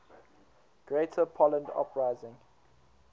greater poland uprising